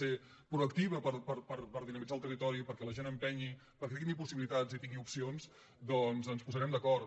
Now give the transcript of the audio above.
ser proactiu per dinamitzar el territori perquè la gent empenyi perquè tingui possibilitats i tingui opcions doncs ens posarem d’acord